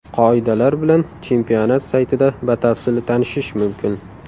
Qoidalar bilan chempionat saytida batafsil tanishish mumkin.